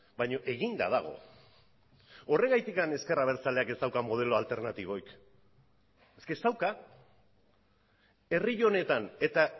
baino eginda dago horregatik ezker abertzaleak ez dauka modelo alternatiborik ez dauka herri honetan eta